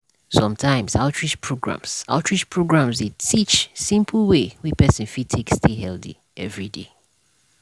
sometimes outreach programs outreach programs dey teach simple way wey person fit take stay healthy every day.